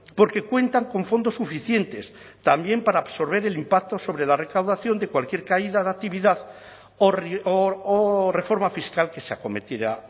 porque cuentan con fondos suficientes también para absorber el impacto sobre la recaudación de cualquier caída de actividad o reforma fiscal que se acometiera